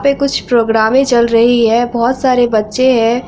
वहाँ पे कुछ प्रोग्रामे चल रही है बहुत सारे बच्चे हैं।